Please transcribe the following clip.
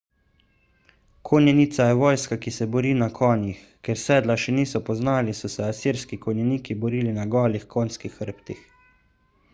konjenica je vojska ki se bori na konjih ker sedla še niso poznali so se asirski konjeniki borili na golih konjskih hrbtih